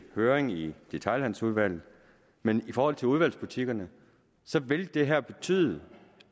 høring i detailhandelsudvalget men i forhold til udvalgsbutikkerne vil det her betyde